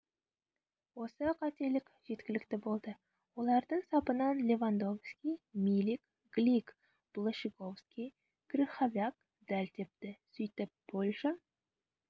осы қателік жеткілікті болды олардың сапынан левандовски милик глик блащиковски крыховяк дәл тепті сөйтіп польша